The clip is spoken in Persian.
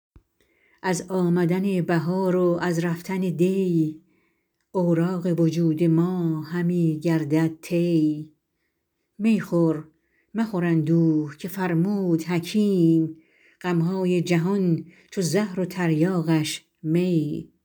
از آمدن بهار و از رفتن دی اوراق وجود ما همی گردد طی می خور مخور اندوه که فرمود حکیم غمهای جهان چو زهر و تریاقش می